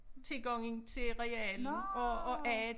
Tilgangen til realen og og a